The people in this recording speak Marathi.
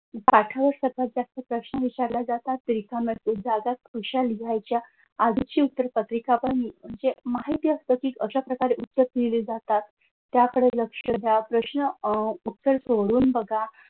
पाठावर सगळ्यात जास्त प्रश्न विचारले जातात रिकाम्या जागा कशा लिहायच्या आधीची उत्तर पत्रिका पण ही माहिती असतं की कशा प्रकारे उत्तरे लिहिली जातात त्याकडे लक्ष द्या प्रश्न अह उत्तर सोडून बघा.